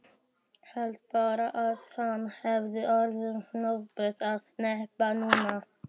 Hélt bara að hann hefði öðrum hnöppum að hneppa núna.